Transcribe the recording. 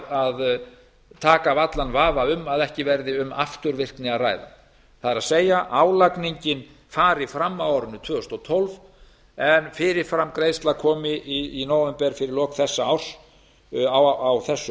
að taka af allan vafa um að ekki verði um afturvirkni að ræða það er að álagningin fari fram á árinu tvö þúsund og tólf en fyrirframgreiðsla komi í nóvember á þessu